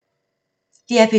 DR P2